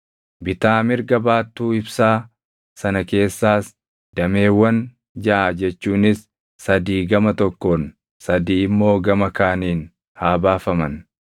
Bitaa mirga baattuu ibsaa sana keessaas dameewwan jaʼa jechuunis sadii gama tokkoon, sadii immoo gama kaaniin haa baafaman.